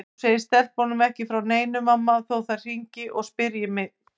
Þú segir stelpunum ekki frá neinu mamma þó þær hringi og spyrji þig.